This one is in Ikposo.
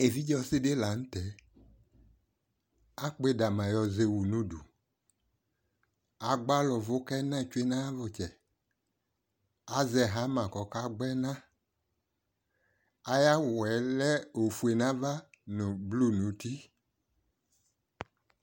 Evidze ɔsɩdï la nʋ tɛ, akpɔ ɩdama zɛwu nudu Agbala ʋvʋ k'ɛna tsue n'ayavʋtsɛ, azɛ hama kɔkagbɔ ɛna; ay'awʋɛ ofue n'ava , blu n'uti